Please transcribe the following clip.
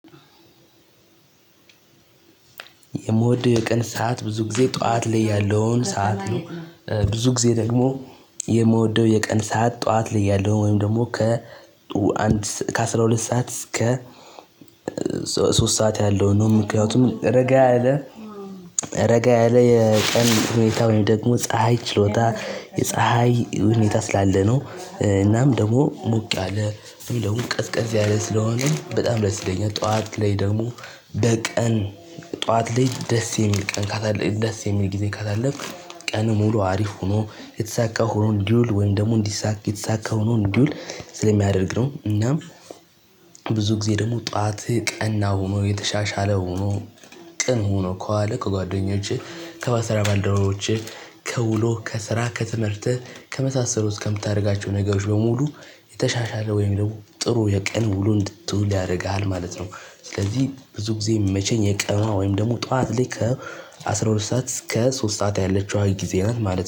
የምወደው የቀን ሰዓት ብዙ ጊዜ ጠዋት ላይ ያለውን ሰዓት ነው። ብዙ ጊዜ ደግሞ የምወደው የቀን ሰዓት ጠዋት ላይ ያለው ወይም ደግሞ ከ ከአስራ ሁለት ሰዓት እስከ ሶስት ሰዓት ያለውን ነው። ምክንያቱም ረጋ ያለ ረጋ ያለ የቀን ሁኔታ ወይም ደግሞ ፀሀይ ችሎታ የፀሀይ ሁኔታ ስላለ ነው። እናም ደግሞ ሞቅ ያለ እንደውም ቀዝቀዝ ያለ ስለሆነ በጣም ደስ ይለኝል። ጠዋት ላይ ደግሞ በቀን ጠዋት ላይ ደስ የሚል ቀን ካላለፍክ ደስ የሚል ጊዜ ካላለፍክ ቀንህ ሙሉ አሪፍ ሆኖ የተሳካ ሆኖ እንዲውል ወይም ደግሞ እንዲሳካ የተሳካ ሆኖ እንዲውል ስለሚያደርግ ነው እናም ብዙ ጊዜ ደግሞ ጠዋትህ ቀና ሆኖ የተሻሻለ ሆኖ ቅን ሆኖ ከዋለ ከጓደኞችህ ከስራ ባልደረቦችህ፤ ከውሎ፣ ከስራ፣ ከትምህርትህ፣ ከመሳሰሉት ውስጥ ከምታደርጋቸው ነገሮች በሙሉ የተሻሻለ ወይም ደግሞ ጥሩ የቀን ውሉ እንድትውል ያደርግሃል ማለት ነው። ስለዚህ ብዙ ጊዜ የሚመቸኝ የቀኗ ወይም ደግሞ ጠዋት ላይ ከ አስራ ሁለት ሰዓት እስከ ሶስት ሰዓት ያለችዋ ጊዜ ናት ማለት ነው።